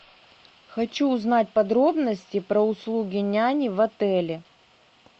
хочу узнать подробности про услуги няни в отеле